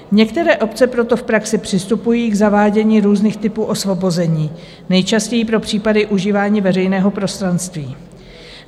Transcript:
Některé obce proto v praxi přistupují k zavádění různých typů osvobození, nejčastěji pro případy užívání veřejného prostranství.